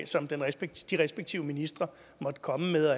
en minister